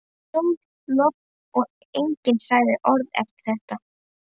Sól, logn og enginn sagði orð eftir þetta.